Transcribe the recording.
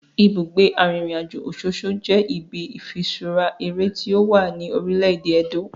Ibugbe arinrinajo Ososo je ibi ifiṣura ere ti owa ni orile-ede Edo.